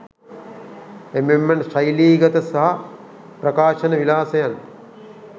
එමෙන්ම ශෛලීගත සහ ප්‍රකාශන විලාසයන්